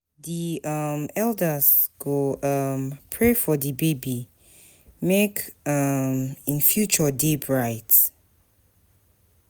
Di um elders go um pray for di baby, make um im future dey bright.